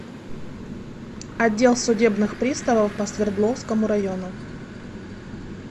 отдел судебных приставов по свердловскому району